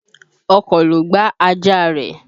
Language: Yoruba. Ọkọ̀ ló gbá ajá rẹ.